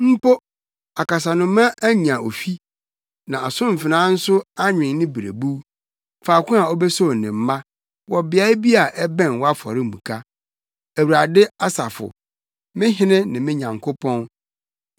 Mpo akasanoma anya ofi, na asomfena nso anwen ne berebuw, faako a obesow ne mma wɔ beae bi a ɛbɛn wʼafɔremuka, Awurade Asafo, me Hene ne me Nyankopɔn.